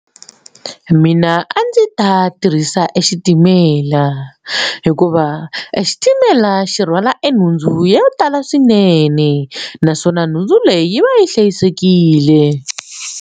Muna a ndzi ta tirhisa xitimela hikuva xitimela xi rhwala enhundzu yo tala swinene naswona nhundzu leyi va yi hlayisekile.